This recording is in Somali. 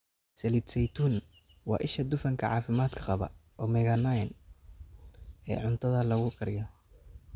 Saliid saytuun: Waa isha dufanka caafimaadka qaba (omega-9) ee cuntada lagu kariyo.